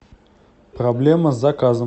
проблема с заказом